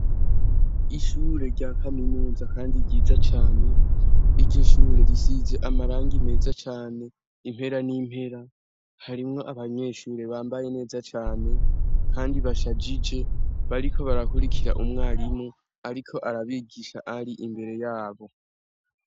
Ishure rya kaminuza kandi ryiza cane, iryo shure risize amarangi meza cane impera n'impera, harimwo abanyeshure bambaye neza cane, kandi bashagije, bariko barakurikira umwarimu ariko arabigisha ari imbere yabo.